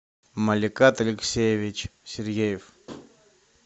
маликат алексеевич сергеев